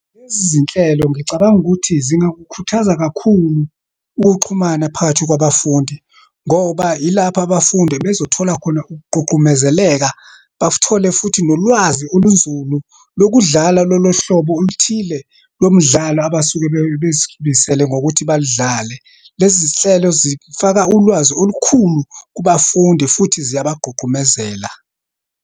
Lezi zinhlelo, ngicabanga ukuthi zingakukhuthaza kakhulu ukuxhumana phakathi kwabafundi, ngoba yilapho abafundi ebezothola khona ukugqugqumezeleka, bathole futhi nolwazi olunzulu lokudlala lolohlobo oluthile lomdlalo abasuke bezimisele ngokuthi balidlale. Lezi zinhlelo zifaka ulwazi olukhulu kubafundi futhi ziyabagqugqumezela.